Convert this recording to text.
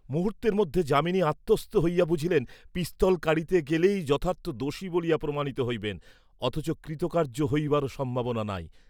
মুহূর্তের মধ্যে যামিনী আত্মস্থ হইয়া বুঝিলেন, পিস্তল কাড়িতে গেলেই যথার্থ দোষী বলিয়া প্রমাণিত হইবেন, অথচ কৃতকার্য্য হইবারও সম্ভাবনা নাই।